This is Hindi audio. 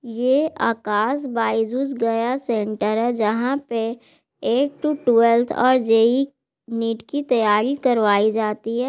''ये आकाश बायजुस गया सेंटर है जहां पे ऐठ टू ट्वेल्थ और जे.ई . नीट की तैयारी करवाई जाती है।''